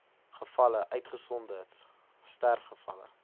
gevalle uitgesonderd sterfgevalle